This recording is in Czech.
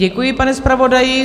Děkuji, pane zpravodaji.